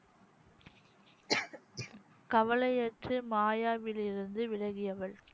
கவலையற்ற மாயாவில் இருந்து விலகியவள்